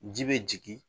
Ji bɛ jigin